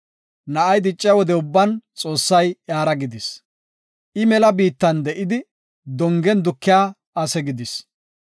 Na7ay dicciya wode ubban, Xoossay iyara gidis. I mela biittan de7idi, dongen dukiya ase gidis.